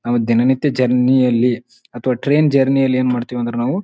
ನಾವು ದಿನನಿತ್ಯ ಜರ್ನಿ ಯಲ್ಲಿ ಅಥವಾ ಟ್ರೈನ್ ಜರ್ನಿ ಯಲ್ಲಿ ಏನ್ ಮಾಡತ್ತಿವಿ ಅಂದ್ರೆ ನಾವು.